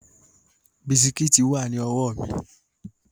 Bisikíìtì wà ní ọwọ́ mi